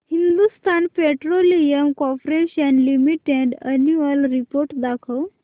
Hindustan petroleum corporation limited annual report दाखव